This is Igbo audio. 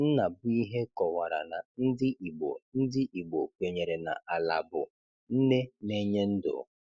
Nnabuihe kọwara na ndị Igbo ndị Igbo kwenyere na Ala bụ nne na-enye ndụ.